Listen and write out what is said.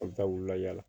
An bɛ taa wula yaala